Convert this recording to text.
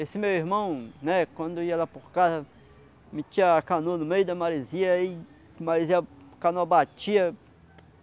Esse meu irmão né, quando eu ia lá por casa, metia a canoa no meio da maresia e maresia, a canoa batia.